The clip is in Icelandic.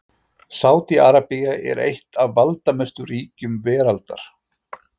Sádi-Arabía er eitt af valdamestu ríkjum veraldar.